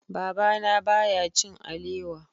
Babana baya cin alewa.